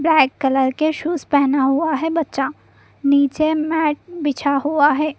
Black colour के shoes पहना हुआ है बच्चा नीचे मैट बिछा हुआ है।